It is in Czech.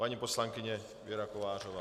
Paní poslankyně Věra Kovářová.